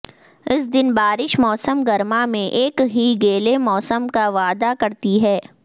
اس دن بارش موسم گرما میں ایک ہی گیلے موسم کا وعدہ کرتی ہے